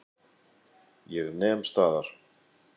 Ég nem staðar.